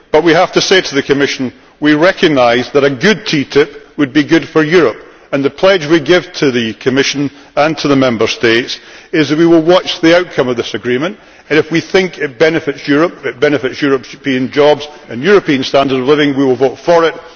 But we have to say to the Commission we recognise that a good TTIP would be good for Europe, and the pledge we give to the Commission and to the Member States is that we will watch the outcome of this agreement and, if we think it benefits Europe, benefits European jobs and European standards of living, we will vote for it.